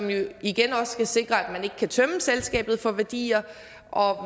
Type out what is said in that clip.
hvilket igen også skal sikre at man ikke kan tømme selskabet for værdier og